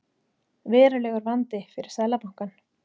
Verulegur vandi fyrir Seðlabankann